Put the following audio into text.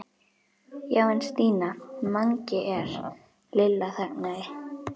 Já en Stína, Mangi er. Lilla þagnaði.